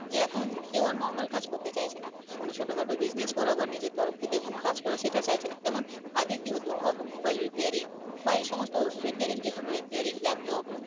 যে এখন কেউ আর normal কাজ করতে চাইছে না কোন ছোটখাটো business করা বা নিজের তরফ থেকে কোন কাজ করা সেটা চাইছে না যেমন আগে কি হতো automobile repairing বা এই সমস্ত repairing যে কোন repairing laptop